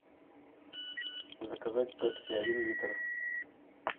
заказать пепси один литр